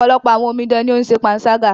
Ọ̀pọ̀lọpọ̀ àwọn omidan ní o ń ṣe panṣágà.